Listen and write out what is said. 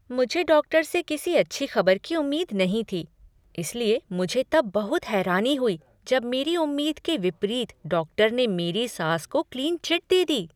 मुझे डॉक्टर से किसी अच्छी खबर की उम्मीद नहीं थी, इसलिए मुझे तब बहुत हैरानी हुई जब मेरी उम्मीद के विपरीत डॉक्टर ने मेरी सास को क्लीन चिट दे दी।